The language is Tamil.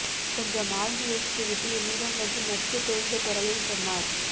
கொஞ்சம் ஆழ்ந்து யோசித்துவிட்டு என்னிடம் வந்து நட்பு தோய்ந்த குரலில் சொன்னார்